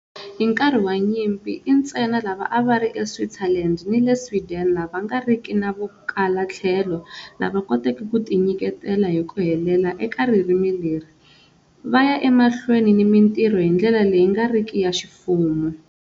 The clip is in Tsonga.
Hi nkarhi wa nyimpi, i ntsena lava a va ri eSwitzerland ni le Sweden lava nga riki na vukalatlhelo lava koteke ku tinyiketela hi ku helela eka ririmi leri, va ya emahlweni ni mintirho hi ndlela leyi nga riki ya ximfumo.